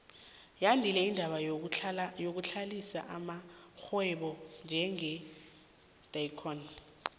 yandile indaba yokuhlanganisa amarhwebo njenge edcon